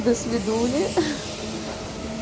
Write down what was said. до свидули